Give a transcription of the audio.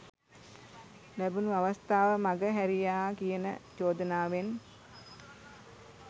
ලැබුනු අවස්ථාව මඟ හැරියා කියන චෝදනාවෙන්